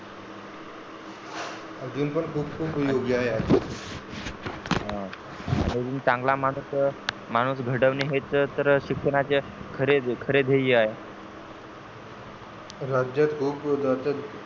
अजून पण हा चांगला माणूस घडवणे हेच तर शिक्षणाचे खरे ध्येय आहे. राज्यात खूप